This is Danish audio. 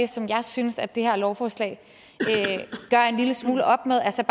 som jeg synes at det her lovforslag gør en lille smule op med altså